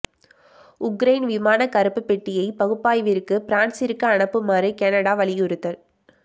Ukraine விமான கறுப்புப் பெட்டியை பகுப்பாய்விற்கு பிரான்சிற்கு அனுப்புமாறு கனடா வலியுறுத்தல்